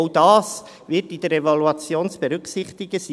Auch das wird in der Evaluation zu berücksichtigen sein.